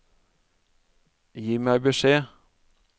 Gi meg beskjed